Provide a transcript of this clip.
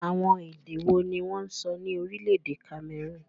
Àwọn èdè wo ni wọ́n ń sọ ní orílẹ̀èdè Cameroon?